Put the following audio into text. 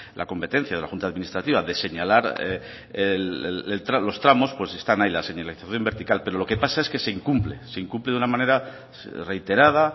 la competencia de la junta administrativa de señalar los tramos pues están ahí la señalización vertical pero lo que pasa es que se incumple se incumple de una manera reiterada